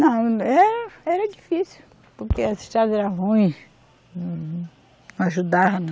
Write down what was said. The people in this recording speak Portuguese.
Não, eh, era difícil, porque as estrada era ruim, ajudava não.